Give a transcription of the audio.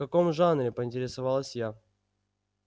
в каком жанре поинтересовалась я